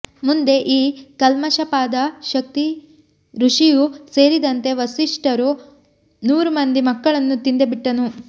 ಮುಂದೆ ಈ ಕಲ್ಮಾಶಪಾದ ಶಕ್ತಿ ಋಷಿಯೂ ಸೇರಿದಂತೆ ವಸಿಷ್ಠರ ನೂರು ಮಂದಿ ಮಕ್ಕಳನ್ನೂ ತಿಂದೇ ಬಿಟ್ಟನು